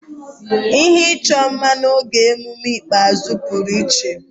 Ihe ịchọ mma n'oge ememme ikpeazụ pụrụ iche.